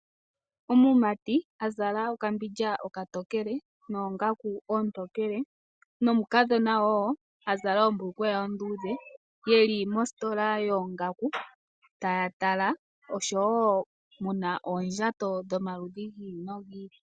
Omumati azala okambilya oka tokele nongaku otokele nomukadhona wo azala ombulukweya ondudhe yeli mositola yongaku tatala osho wo muna oondjato dhomaludhi ngili nongili.